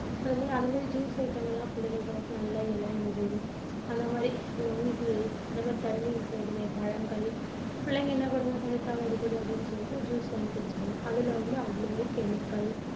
அந்த மாதிரி அந்த மாதிரி juice item ங்க எல்லாம் பிள்ளைங்க~ நல்ல இளநீரு, அந்த மாதிரி நுங்கு, அந்த மாதிரி தண்ணி இருக்கக் கூடிய பழங்கள். புள்ளைங்க என்ன பண்ணுங்க தண்ணி தாகம் அடிக்குது அப்படின்னு சொல்லிட்டு juice வாங்கி குடிச்சுடும். அதுல வந்து அவ்வளவும் chemical